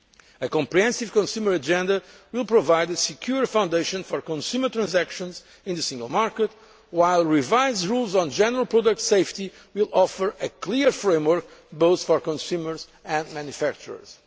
demand. A comprehensive consumer agenda will provide a secure foundation for consumer transactions in the Single Market, while revised rules on general product safety will offer a clear framework both for consumers and manufacturers.